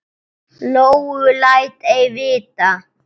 Lóu læt ei vita.